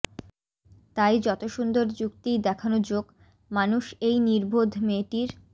তাই যত সুন্দর যুক্তিই দেখানো যোক মানুষ এই নির্বোধ মেয়েটির